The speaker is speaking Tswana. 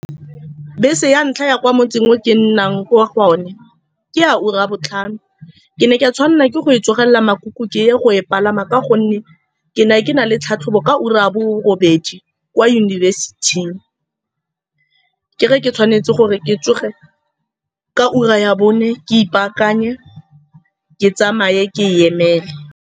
Bese ya ntlha ya kwa motseng o ke nnang kwa go one ke ya ura ya botlhano. Ke ne ka tshwanelwa ke go e tlogelela makuku, ke ye go e palama ka gonne ke ne ke na le tlhatlhobo ka ura ya borobedi kwa yunibesiting. Ke re, ke tshwanetse gore ke tsoge ka ura ya bone, ke ipaakanye, ke tsamaye, ke e emele.